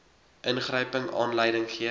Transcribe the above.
ingryping aanleiding gee